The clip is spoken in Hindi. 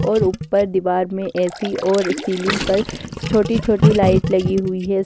और ऊपर दीवार में ऐ_सी और सीलिंग पर छोटी-छोटी लाइट लगी हुई है।